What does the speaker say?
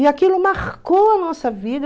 E aquilo marcou a nossa vida.